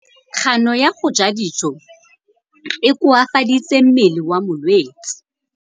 Kganô ya go ja dijo e koafaditse mmele wa molwetse.